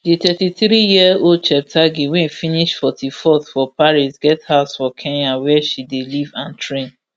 di thirty-threeyearold cheptegei wey finish forty-fourth for paris get house for kenya wia she dey live and train